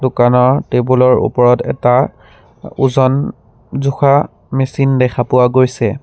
দোকানৰ টেবুল ৰ ওপৰত এটা ওজন জোখা মেচিন দেখা পোৱা গৈছে।